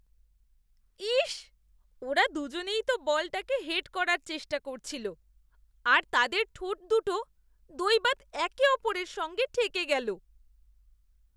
ইস্‌! ওরা দুজনেই তো বলটাকে হেড করার চেষ্টা করছিল আর তাদের ঠোঁটদুটো দৈবাৎ একে অপরের সঙ্গে ঠেকে গেল।